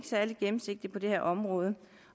særlig gennemsigtig på det her område